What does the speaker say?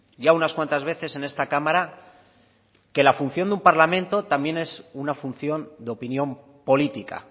ya unas cuantas veces en esta cámara que la función de un parlamento también es una función de opinión política